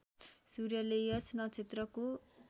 सूर्यले यस नक्षत्रको